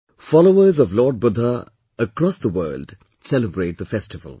Followers of Lord Budha across the world celebrate the festival